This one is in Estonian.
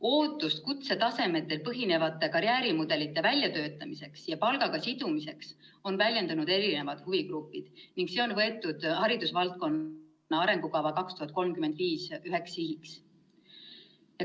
Ootust kutsetasemetel põhinevate karjäärimudelite väljatöötamiseks ja palgaga sidumiseks on väljendanud erinevad huvigrupid ning see on võetud haridusvaldkonna arengukava 2021–2035 üheks sihiks.